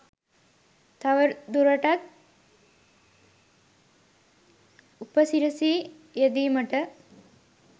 තවදුරටත් උපසිරිසි යෙදීමට